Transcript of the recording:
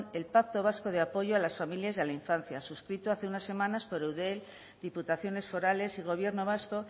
el pacto vasco de apoyo a las familias y a la infancia suscrito hace unas semanas por eudel diputaciones forales y gobierno vasco